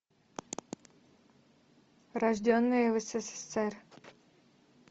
рожденные в ссср